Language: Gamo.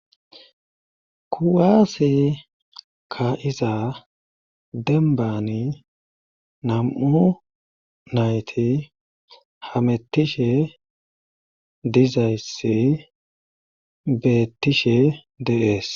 kuwaase ka izaa dembani nam7u nayti hamettishe dizaysi bettishe deees